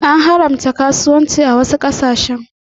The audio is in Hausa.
An haramta karuwanci a wasu ƙasashe.